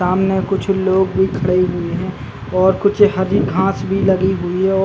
सामने कुछ लोग खड़े हुए है और कुछ हरी-घास भी लगी हुई है। ओ--